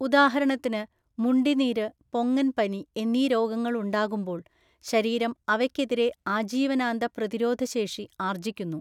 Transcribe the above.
ഉദാഹരണത്തിന് മുണ്ടി നീര് പൊങ്ങൻപനി എന്നീ രോഗങ്ങൾ ഉണ്ടാകുമ്പോൾ ശരീരം അവയ്ക്കെതിരെ ആജീവനാന്ത പ്രതിരോധശേഷി ആർജ്ജിക്കുന്നു.